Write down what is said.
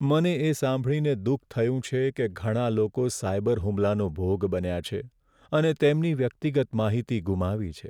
મને એ સાંભળીને દુઃખ થયું છે કે ઘણા લોકો સાયબર હુમલાનો ભોગ બન્યા છે અને તેમની વ્યક્તિગત માહિતી ગુમાવી છે.